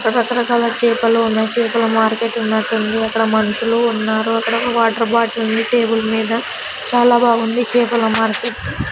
ఇక్కడ రకరకాల చేపలు ఉన్నాయ్ చేపల మార్కెట్ ఉన్నట్టు ఉంది. అక్కడ మనుషులు ఉన్నారు అక్కడొక వాటర్ బాటిల్ ఉంది టేబుల్ మీద చాలా బాగుంది చేపల మార్కెట్టు .